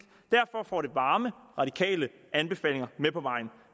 og derfor får det varme radikale anbefalinger med på vejen